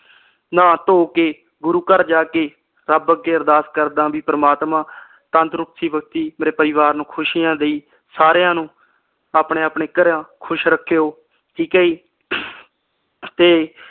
ਨਾਹ ਧੋ ਕੇ ਗੁਰੂ ਘਰ ਜਾ ਕੇ ਰੱਬ ਅੱਗੇ ਅਰਦਾਸ ਕਰਦਾ ਬੀ ਪ੍ਰਮਾਤਮਾ ਤੰਦਰੁਸਤੀ ਬਖਸ਼ੀ ਮੇਰੇ ਪਰਿਵਾਰ ਨੂੰ ਖੁਸੀਆ ਦਈ ਸਾਰਿਆਂ ਨੂੰ ਆਪਣੇ ਆਪਣੇ ਘਰਾਂ ਖੁਸ਼ ਰੱਖਿਓ ਠੀਕ ਏ ਜੀ।